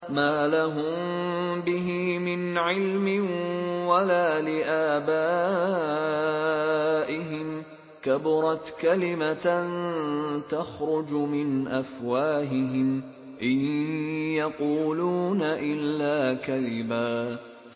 مَّا لَهُم بِهِ مِنْ عِلْمٍ وَلَا لِآبَائِهِمْ ۚ كَبُرَتْ كَلِمَةً تَخْرُجُ مِنْ أَفْوَاهِهِمْ ۚ إِن يَقُولُونَ إِلَّا كَذِبًا